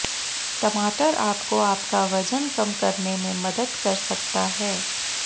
टमाटर आपको आपका वजन कम करने में मदद कर सकता है